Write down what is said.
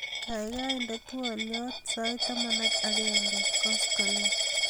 gaigai inde twolyot sait taman ak aenge koskolen